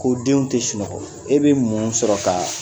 Ko denw te sunɔgɔ , e be mun sɔrɔ ka